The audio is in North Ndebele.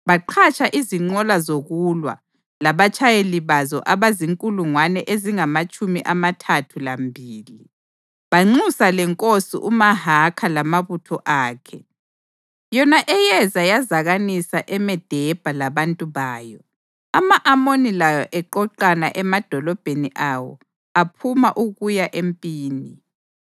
Baqhatsha izinqola zokulwa labatshayeli bazo abazinkulungwane ezingamatshumi amathathu lambili, banxusa lenkosi uMahakha lamabutho akhe, yona eyeza yazakanisa eMedebha labantu bayo, ama-Amoni lawo eqoqana emadolobheni awo aphuma ukuya empini.